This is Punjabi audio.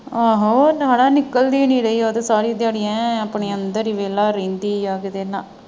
ਆਹੋ ਉਹ ਹਣਾ ਨਿਕਲਦੀ ਨੀ ਰਹੀ ਸਾਰੀ ਦਿਹਾੜੀ ਐਨ ਆਪਣੇ ਅੰਦਰ ਵੇਖਲਾ ਰਹਿੰਦੀ ਆ ਕਿਤੇ ਨਾ।